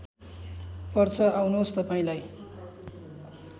पर्छ आउनुहोस् तपाईँलाई